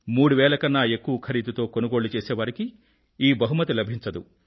3000 కన్నా ఎక్కువ ఖరీదుతో కొనుగోళ్ళు చేసేవారికి ఈ బహుమతి లభించదు